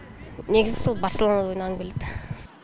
негізі сол барселонада ойнағым келеді